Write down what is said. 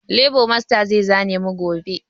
Lebo masta zai zane mu gobe